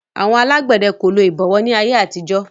Àwọn alágbẹ̀dẹ kò lo ìbọ̀wọ́ ní ayé àtijó